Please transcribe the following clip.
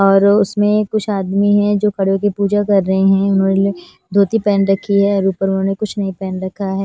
और उसमें कुछ आदमी है जो खड़े होकर पूजा कर रहे हैं उन्होंने धोती पहन रखी है और ऊपर उन्होंने कुछ नहीं पहन रखा है।